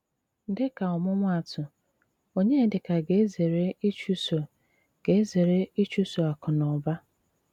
Díka ómụ̀máátụ, Ọnyédíkà gà-ézéré íchụ̀sọ́ gà-ézéré íchụ̀sọ́ àkù nà ụ́bà.